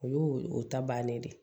O y'o o ta bannen de ye